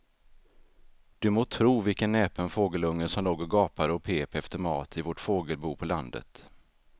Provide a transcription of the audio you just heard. Du må tro vilken näpen fågelunge som låg och gapade och pep efter mat i vårt fågelbo på landet.